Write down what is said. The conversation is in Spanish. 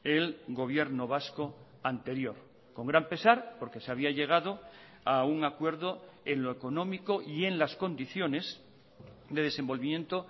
el gobierno vasco anterior con gran pesar porque se había llegado a un acuerdo en lo económico y en las condiciones de desenvolvimiento